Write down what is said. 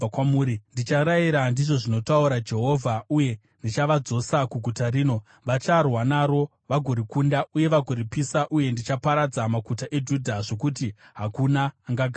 Ndicharayira, ndizvo zvinotaura Jehovha, uye ndichavadzosa kuguta rino. Vacharwa naro, vagorikunda, uye vagoripisa. Uye ndichaparadza maguta eJudha, zvokuti hakuna angagaramo.”